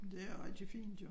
Det er rigtig fint jo